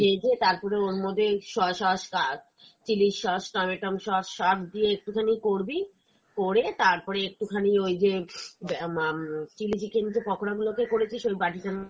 ভেজে, তারপরে ওর মধ্যে soya sauce আর chilli sauce, tomato sauce, সব দিয়ে একটু খানি করবি করে তারপরে একটু খানি ওই যে আহ উম chilli chicken যে পকোড়া গুলোতে করেছিস ওই বাটিটার